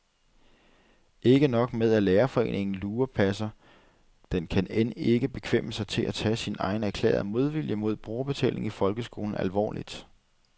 Ikke nok med, at lærerforeningen lurepasser, den kan end ikke bekvemme sig til at tage sin egen erklærede modvilje mod brugerbetaling i folkeskolen alvorligt.